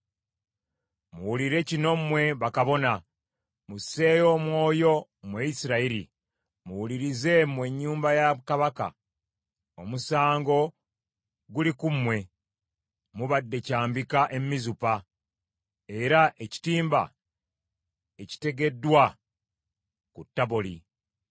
Muwulire kino mmwe bakabona! Musseeyo omwoyo, mmwe Isirayiri! Muwulirize, mmwe ennyumba ya Kabaka! Omusango guli ku mmwe: Mubadde kyambika e Mizupa, era ekitimba ekitegeddwa ku Taboli.